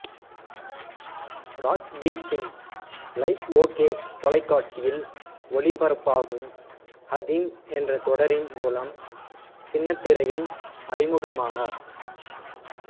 Rajbir Singh Life OK தொலைகாட்சியில் ஒளிபரப்பாகும் ஹதீம் என்ற தொடரின் மூலம் சின்னத்திரையில் அறிமுகமானார்